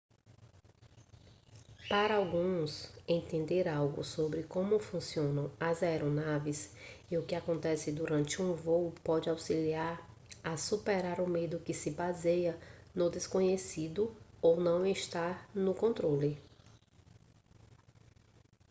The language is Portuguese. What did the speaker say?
para alguns entender algo sobre como funcionam as aeronaves e o que acontece durante um voo pode auxiliar a superar o medo que se baseia no desconhecido ou em não estar no controle